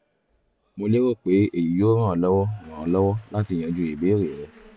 mo lérò pe eyi yoo ran ọ lọwọ ran ọ lọwọ lati yanju ibeere rẹ